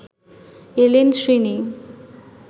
এলেন শ্রীনি